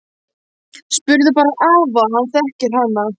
Spurðu bara afa, hann þekkir hana!